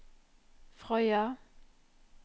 Frøya